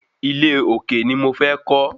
Ilé òkè ni mo fẹ́ kọ́